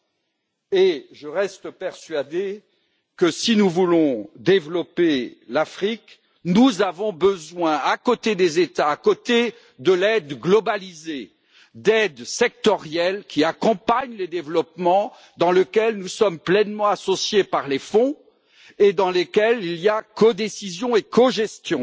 De plus, je reste persuadé que si nous voulons développer l'Afrique, nous avons besoin, outre les États et l'aide globalisée, d'aides sectorielles qui accompagnent les développements dans lesquels nous sommes pleinement associés par les fonds et dans lesquels il y a codécision et cogestion,